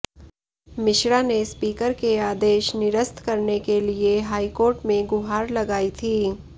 मिश्रा ने स्पीकर के आदेश निरस्त करने के लिए हाईकोर्ट में गुहार लगाई थी